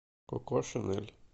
коко шинель